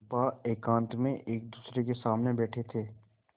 चंपा एकांत में एकदूसरे के सामने बैठे थे